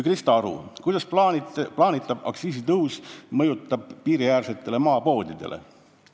" Krista Aru küsis, kuidas mõjub plaanitav aktsiisitõus piiriäärsetele maapoodidele.